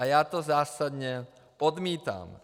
A já to zásadně odmítám.